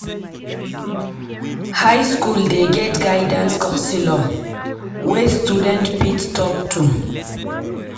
High skool dey get guidance counselor wey student fit talk to.